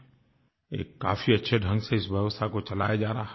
एक काफ़ी अच्छे ढंग से इस व्यवस्था को चलाया जा रहा है